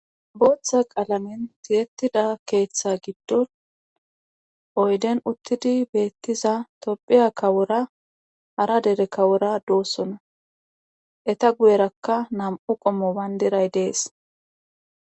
booththa qalamin tiyettida keeththa giddon oyden uttidi beettiza tophiya kawora hara dere kawora doosona eta guyerakka nam'u qommo bandiray dees